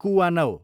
कुवानव